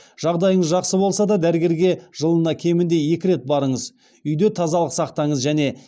жағдайыңыз жақсы болса да дәрігерге жылына кемінде екі рет барыңыз үйде тазалық сақтаңыз және